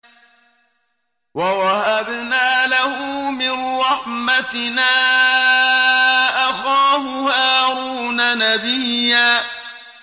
وَوَهَبْنَا لَهُ مِن رَّحْمَتِنَا أَخَاهُ هَارُونَ نَبِيًّا